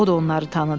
O da onları tanıdı.